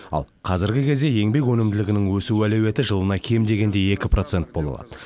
ал қазіргі кезде еңбек өнімділігінің өсу әлеуеті жылына кем дегенде екі процент бола алады